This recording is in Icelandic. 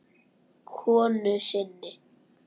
konu sinni.